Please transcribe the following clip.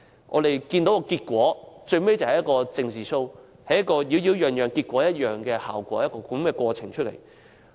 我們看到，最終這只是一場"政治 Show"， 只有"擾擾攘攘，結果一樣"的過程及效果。